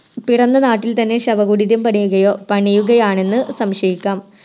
പിറന്ന നാട്ടിൽത്തന്നെ ശവകുടീരം പണിയുകയോ പണിയുകയാണെന്ന് സംശയിക്കാം